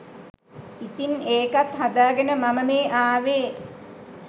ඉතින් ඒකත් හදාගෙන මම මේ අවේ